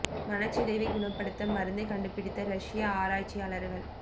மனச்சிதைவை குணப்படுத்த மருந்தை கண்டுபிடித்த ரஷியா ஆராய்ச்சியாளர்கள்